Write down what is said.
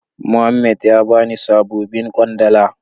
Muhammed ya bani sabobin kwandala.